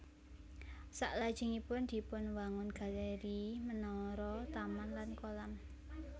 Salajengipun dipunwangun galéri menara taman lan kolam